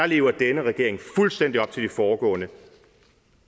lever denne regering fuldstændig op til de foregående